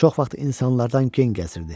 Çox vaxt insanlardan gen gəzirdi.